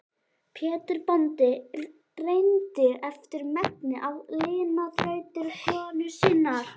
Pétur bóndi reyndi eftir megni að lina þrautir konu sinnar.